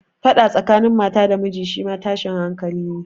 Faɗa tsakanin mata da miji shi ma tashin hankali ne.